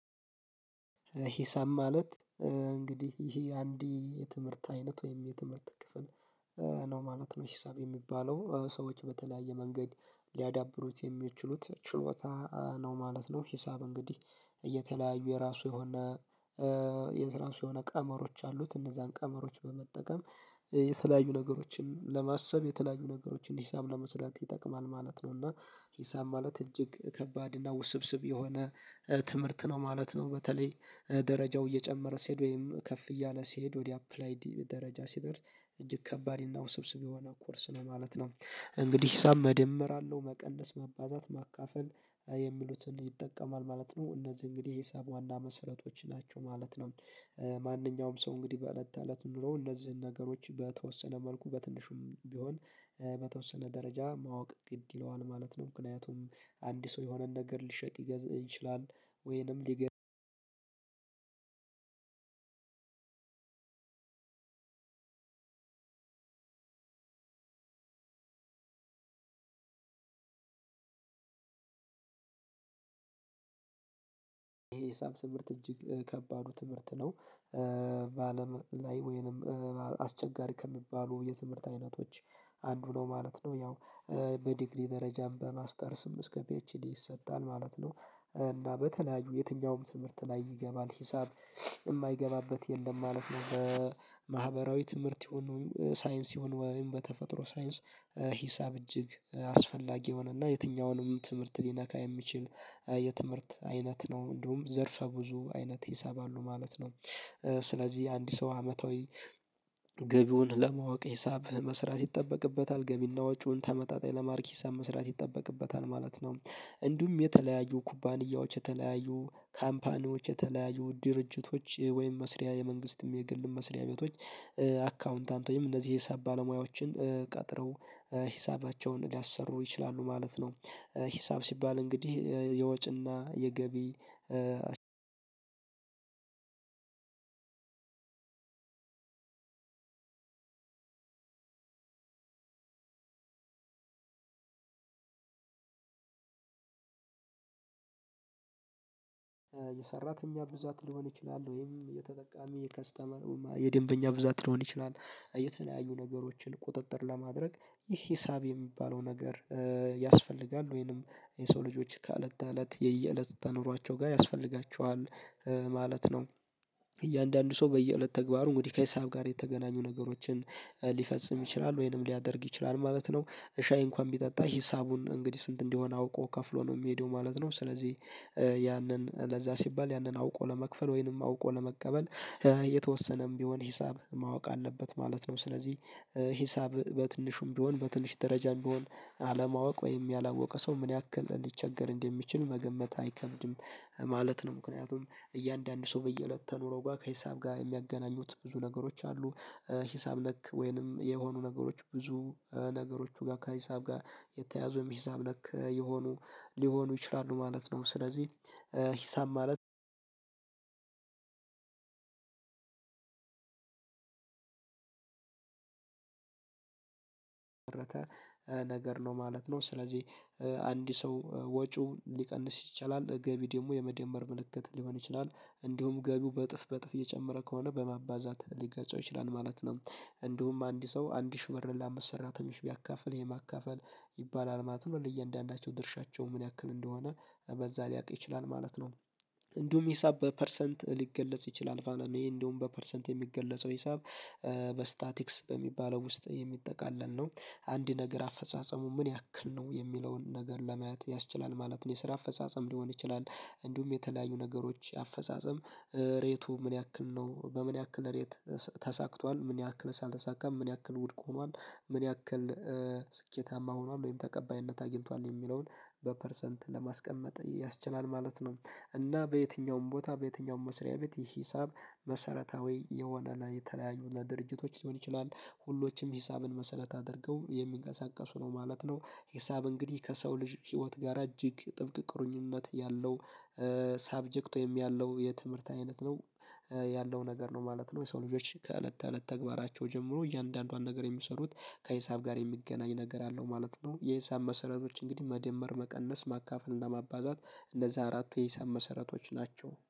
ሂሳብ ማለት እንግዲህ ይሄ አንድ የትምህርት አይነት ወይም የትምህርት ክፍል ነው ማለት ነው። ሂሳብ የሚባለው ሰዎች በተለያየ መንገድ ሊያዳብሩት የሚችሉት ችሎታ ነው ማለት ነው። ሂሳብ እንግዲህ እየተለያዩ የራሱ የሆነ የራሱ የሆነ ቀመሮች አሉት እነዛን ቀመሮች በመጠቀም የተለያዩ ነገሮችን ለማሰብ የተለያዩ ነገሮችን ሂሳብ ለመስራት ይጠቅማል ማለት ነው። እና ሂሳብ ማለት እጅግ ከባድ እና ውስብስብ የሆነ ትምህርት ነው ማለት ነው። በተለይ ደረጃው እየጨመረ ሲሄድ ወይም ከፍ እያለ ሲሄድ ወደ አፕላይድ ደረጃ ሲደርስ እጅግ ከባድ ነው ስብስብ የሆነ ኮርስ ነው ማለት ነው። እንግዲህ ሂሳብ መደመር አለው መቀለስ መባዛት ማካፈል የሚሉትን ይጠቀማል ማለት ነው እነዚህ እንግዲህ ሂሳብ ዋና መሰረቶች ናቸው ማለት ነው። ማንኛውም ሰው እንግዲህ በእለት በእለት ኑሮ እነዚህን ነገሮች በተወሰነ መልኩ በትንሹም ቢሆን በተወሰነ ደረጃ ማወቅ ግድ ይለዋል ማለት ነው። ምክንያቱም አንድ የሆነን ነገር ሊሸጥ ይገዝብ ይችላል። ወይንም ይሄ ሂሳብ ትምህርት እጅግ ከባዱ ትምህርት ነው በአለም ላይ ወይንም አስቸጋሪ ከሚባሉ የትምህርት አይነቶች አንዱ ነው ማለት ነው። ያው በዲግሪ ደረጃም በማስተርስም እስከ ፒኤችዲ ይሰጣል ማለት ነው። እና በተለያዩ የትኛውም ትምህርት ላይ ይገባል ሂሳብ የማይገባበት የለም ማለት ነው። በማህበራዊ ትምህርት ይሁን ሳይንስ ይሁን ወይም በተፈጥሮ ሳይንስ ሂሳብ እጅግ አስፈላጊ የሆነና የትኛውንም ትምህርት ሊነካ የሚችል የትምህርት አይነት ነው እንዲሁም ዘርፈ ብዙ አይነት ሂሳብ ማለት ነው። ስለዚህ አንድ ሰው አመታዊ ገቢውን ለማወቅ ሂሳብ መስራት ይጠበቅበታል ገቢና ወጪውን ተመጣጣኝ ለማረግ ሂሳብ መስራት ይጠበቅበታል ማለት ነው። እንዲሁም የተለያዩ ኩባንያዎች የተለያዩ ካምፓኒዎች የተለያዩ ድርጅቶች ወይም መስሪያ የመንግስትም የግል መስሪያ ቤቶች አካውንታንት ወይም እነዚህ የሂሳብ ባለሙያዎችን ቀጥረው ሂሳባቸውን ሊያሰሩ ይችላሉ ማለት ነው። ሂሳብ ሲባል እንግዲህ የወጭና የገቢ አንድ የሰራተኛ ብዛት ሊሆን ይችላል ወይም የተጠቃሚ የከስተመር የደንበኛ ብዛት ልሆን ይችላል የተለያዩ ነገሮችን ቁጥጥር ለማድረግ ይህ ሂሳብ የሚባለው ነገር ያስፈልጋል ወይንም የሰው ልጆች ከእለት ተእለት የየእለት ውጤት አኖራቸው ጋር ያስፈልጋቸዋል ማለት ነው። እያንዳንዱ ሰው በየሁለት ተግባሩ እንግዲህ ከሒሳብ ጋር የተገናኙ ነገሮችን ሊፈጽም ይችላል ወይንም ሊያደርግ ይችላል ማለት ነው ሻይ እንኳን ቢጠጣ ሂሳቡን እንግዲህ ስንት እንዲሆን አውቆ ከፍሎ ነው የሚሄደው ማለት ነው። ስለዚህ ያንን ለዛ ሲባል ያንን አውቆ ለመክፈል ወይንም አውቆ ለመቀበል የተወሰነም ቢሆን ሂሳብ ማወቅ አለበት ማለት ነው። ስለዚህ ሂሳብ በትንሹም ቢሆን በትንሽ ደረጃም ቢሆን አለማወቅ ወይም ያላወቀ ሰው ምን ያክል ሊቸገር እንደሚችል መገመት አይከብድም ማለት ነው። ምክንያቱም እያንዳንዱ ሰው በየእለት ተኑሮው ጋር ከሒሳብ ጋር የሚያገናኙት ብዙ ነገሮች አሉ። ሂሳብ ነክ ወይንም የሆኑ ነገሮች ብዙ ነገሮቹ ጋር ከሂሳብ ጋር የተያዙም ሂሳብ ነክ የሆኑ ሊሆኑ ይችላሉ ማለት ነው። ስለዚህ ሂሳብ ማለት የተመሰረተ ነገር ነው ማለት ነው። ስለዚህ አንድ ሰው ወጪው ሊቀንስ ይችላል ገቢ ደግሞ የመደመር ምልክት ሊሆን ይችላል እንዲሁም ገቢው በእጥፍ በእጥፍ እየጨመረ ከሆነ በማባዛት ሊገልጸው ይችላል ማለት ነው። እንዲሁም አንድ ሰው አንድ ሽህ ብርን ለአምስት ሰራተኞች ቢያካፍል ይሄ ማካፈል ይባላል ማለት ነው ለእያንዳንዳቸው ድርሻቸው ምን ያክል እንደሆነ በዛ ሊያቅ ይችላል ማለት ነው። እንዲሁም ሂሳብ በፐርሰንት ሊገለጽ ይችላል እኔ እንደውም በፐርሰንት የሚገለጸው ሂሳብ በስታቲክስ በሚባለው ውስጥ የሚጠቃለል ነው አንድ ነገር አፈጻጸሙ ምን ያክል ነው የሚለውን ነገር ለማየት ያስችላል ማለት ነው። የስራ አፈጻጸም ሊሆን ይችላል እንዲሁም የተለያዩ ነገሮች አፈጻጸም ሬቱ ምን ያክል ነው በምን ያክል ሬት ተሳክቷል ምን ያክል አልተሳካም ምን ያክል ውድቅ ሆኗል ምን ያክል ስኬታማ ሆኗል ወይም ተቀባይነት አግኝቷል የሚለውን በፐርሰንት ለማስቀመጥ ያስችላል ማለት ነው። እና በየትኛውም ቦታ በየትኛውም መስሪያ ቤት ይህ ሂሳብ መሰረታዊ የሆነ የተለያዩ ለድርጅቶች ሊሆን ይችላል ሁሎችም ሂሳብ ን መሰረት አድርገው የሚንቀሳቀሱ ነው ማለት ነው። ሂሳብ እንግዲህ ከሰው ልጅ ህይወት ጋር እጅግ ጥብቅ ቅርኝነት ያለው ሳብጀክት ወይም ያለው የትምህርት አይነት ነው ያለው ነገር ነው ማለት ነው። የሰው ልጆች ከእለት ተእለት ተግባራቸው ጀምሮ እያንዳንዷን ነገር የሚሰሩት ከሒሳብ ጋር የሚገናኝ ነገር አለው ማለት ነው። የሂሳብ መሰረቶች እንግዲህ መደመር መቀነስ ማካፈል እና ማባዛት እነዛ አራቱ የሂሳብ መሰረቶች ናቸው